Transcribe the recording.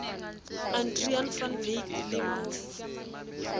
adriaan van wyk le mof